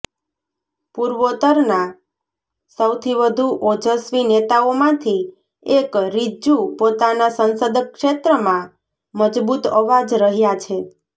પૂર્વોત્તરના સૌથી વધુ ઓજસ્વી નેતાઓમાંથી એક રીજ્જુ પોતાના સંસદ ક્ષેત્રમાં મજબૂત અવાજ રહ્યા છે